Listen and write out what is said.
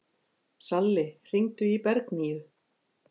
Salli, hringdu í Bergnýju.